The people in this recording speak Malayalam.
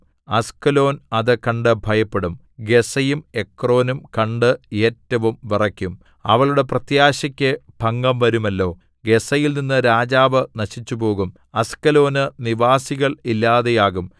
അസ്കലോൻ അത് കണ്ടു ഭയപ്പെടും ഗസ്സയും എക്രോനും കണ്ട് ഏറ്റവും വിറയ്ക്കും അവളുടെ പ്രത്യാശക്കു ഭംഗം വരുമല്ലോ ഗസ്സയിൽനിന്ന് രാജാവ് നശിച്ചുപോകും അസ്കലോനു നിവാസികൾ ഇല്ലാതെയാകും